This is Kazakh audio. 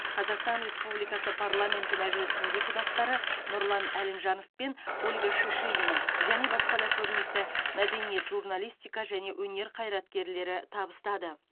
қазақстан республикасы парламенті мәжілісінің депутаттары нұрлан әлімжанов пен ольга шишигина және басқа да көрнекті мәдениет журналистика және өнер қайраткерлері табыстады